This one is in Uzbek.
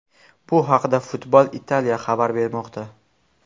Bu haqida Football Italia xabar bermoqda .